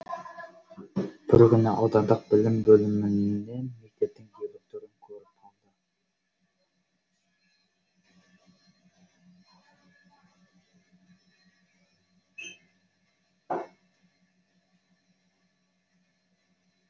бір күні аудандық білім бөлімінен мектептің директорын көріп қалды